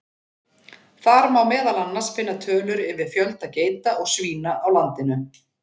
Þar má meðal annars finna tölur yfir fjölda geita og svína á landinu.